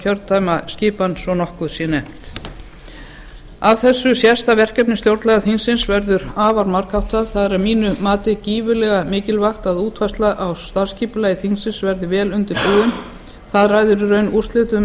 kjördæmaskipan svo nokkuð sé nefnt af þessu sést að verkefni stjórnlagaþingsins verður afar margháttað það er að mínu mati gífurlega mikilvægt að útfærsla á starfsskipulagi þingsins verði vel undirbúin það ræður í raun úrslitum